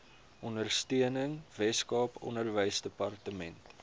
ondersteuning weskaap onderwysdepartement